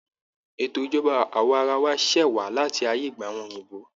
Ètò ìjọba awaarawa ṣẹ wá láti ayé ìgbà àwọn òyìnbó